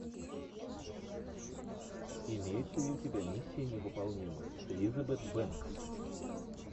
имеется ли у тебя миссия невыполнима с элизабет бэнкс